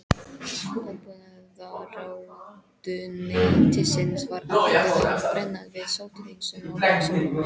Landbúnaðarráðuneytisins var ákveðið að brenna við sótthreinsun á Laxalóni.